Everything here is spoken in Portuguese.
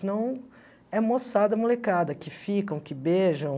Senão, é moçada, molecada, que ficam, que beijam.